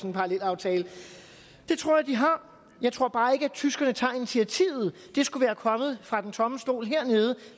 en parallelaftale det tror jeg de har jeg tror bare ikke at tyskerne tager initiativet det skulle være kommet fra den tomme stol hernede